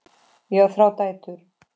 Ég á þrjár dætur.